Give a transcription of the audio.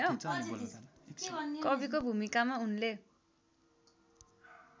कविको भूमिकामा उनले